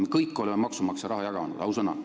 Me kõik oleme maksumaksja raha jaganud – ausõna!